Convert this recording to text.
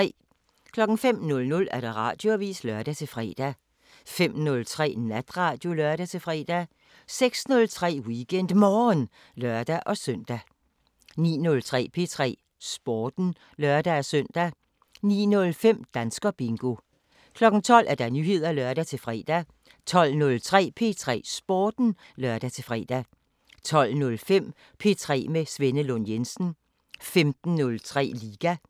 05:00: Radioavisen (lør-fre) 05:03: Natradio (lør-fre) 06:03: WeekendMorgen (lør-søn) 09:03: P3 Sporten (lør-søn) 09:05: Danskerbingo 12:00: Nyheder (lør-fre) 12:03: P3 Sporten (lør-fre) 12:05: P3 med Svenne Lund Jensen 15:03: Liga 18:03: P3 med Signe Amtoft